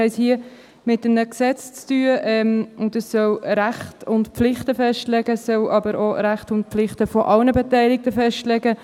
Wir haben es hier mit einem Gesetz zu tun, und dieses soll Rechte und Pflichten festlegen, es soll aber auch Rechte und Pflichten aller Beteiligten festlegen.